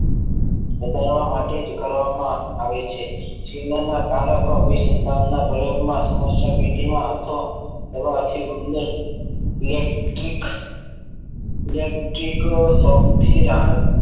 વધારા માટે જ કરવામાં આવે છે જેના કારકો વિશે વિજયકના પ્રયોગોમાં સમસ્યા પેટીમાં હતો તેમાં આખી ઊંડી electric electric શોખથી રાહત